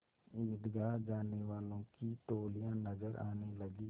ईदगाह जाने वालों की टोलियाँ नजर आने लगीं